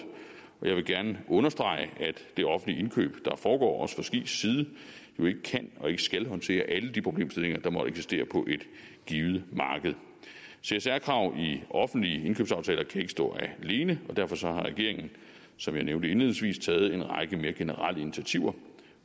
og jeg vil gerne understrege at det offentlige indkøb der foregår også fra skis side jo ikke kan og ikke skal håndtere alle de problemstillinger der måtte eksistere på et givet marked csr krav i offentlige indkøbsaftaler kan ikke stå alene og derfor har regeringen som jeg nævnte indledningsvis taget en række mere generelle initiativer